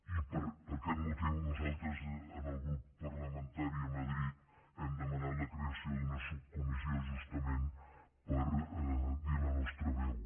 i per aquest motiu nosaltres en el grup parlamentari a madrid hem demanat la creació d’una subcomissió justament per dir la nostra veu